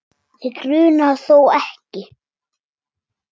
Þig grunar þó ekki?.